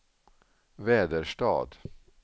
Väderstad